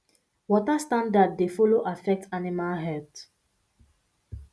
water standard dey follow affect animal health